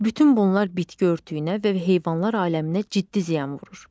Bütün bunlar bitki örtüyünə və heyvanlar aləminə ciddi ziyan vurur.